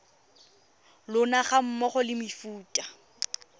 lona ga mmogo le mefuta